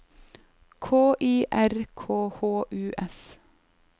K I R K H U S